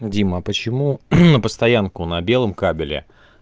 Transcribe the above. дима почему на постоянку на белом кабеле